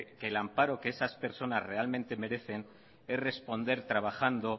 que el amparo que esas personas realmente merecen es responder trabajando